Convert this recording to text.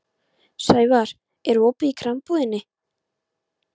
Sævarr, er opið í Krambúðinni?